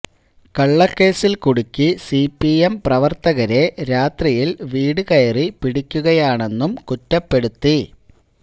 കള്ളക്കേസില് കുടുക്കി C P M പ്രവര്ത്തകരെ രാത്രിയില് വീട് കയറി പിടിക്കുകയാണെന്നും കുറ്റപ്പെടുത്തി